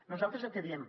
nosaltres el que diem